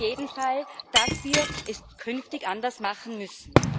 Auf jeden Fall, dass wir es künftig anders machen müssen.